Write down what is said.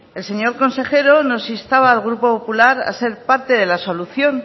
el señor consejero nos instaba al grupo popular a ser parte de la solución